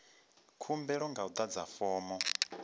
khumbelo nga u adza fomo